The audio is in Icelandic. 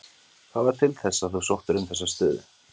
Hvað varð til þess að þú sóttir um þessa stöðu?